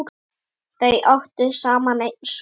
Þau áttu saman einn son.